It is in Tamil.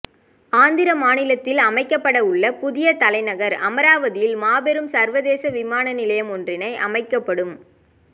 ஆந்திர மாநிலத்தில் அமைக்கப்பட உள்ள புதிய தலைநகர் அமராவதியில் மாபெரும் சர்வதேச விமான நிலையம் ஒன்றினை அமைக்கப்படும்